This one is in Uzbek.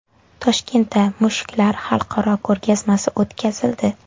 Toshkentda mushuklar xalqaro ko‘rgazmasi o‘tkazildi .